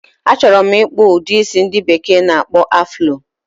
A choro m ikpu udi isi ndi bekee n akpo afulo